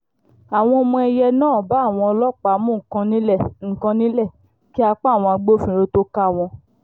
àwọn ọmọ èìyẹ náà bá àwọn ọlọ́pàá mú nǹkan nílẹ̀ nǹkan nílẹ̀ kí apá àwọn agbófinró tóo ká wọn